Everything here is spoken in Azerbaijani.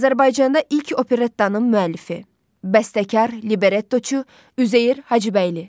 Azərbaycanda ilk operettanın müəllifi: Bəstəkar, Librettoçu Üzeyir Hacıbəyli.